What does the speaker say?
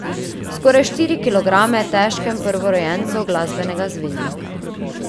V skoraj štiri kilograme težkem prvorojencu glasbenega zvezdnika.